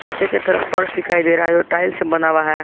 नीचे की तरफ फर्श दिखाई दे रहा है जो टाइलस से बना हुआ है।